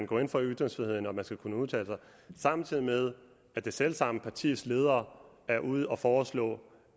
går ind for ytringsfriheden og at man skal kunne udtale sig samtidig med at det selv samme partis leder er ude at foreslå